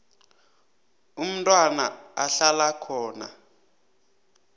umntwana ahlala khona